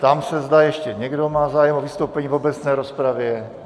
Ptám se, zda ještě někdo má zájem o vystoupení v obecné rozpravě.